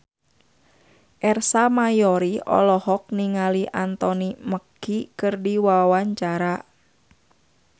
Ersa Mayori olohok ningali Anthony Mackie keur diwawancara